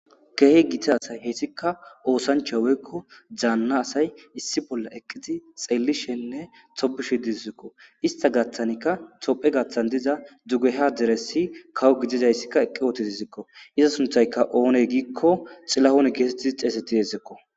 keehe gita asay hessika oosancha weykko zaanna asay issi bolla eqqidi xeellishenne topushi dizikko ista gaththanikka tophe gaththan diza dugeha deressi kawo gidizayssikka eqqi ootiti zikko iza sunthayka oone giikko xilahon geesettii xeesetti yeezekko